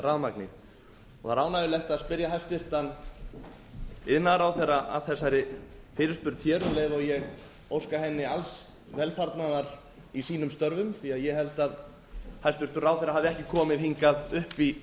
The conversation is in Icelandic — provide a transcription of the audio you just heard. rafmagni það er ánægjulegt að spyrja hæstvirtur iðnaðarráðherra að þessari fyrirspurn hér um leið og ég óska henni alls velfarnaðar í sínum störfum því ég held að hæstvirtur ráðherra hafi ekki komið hingað upp í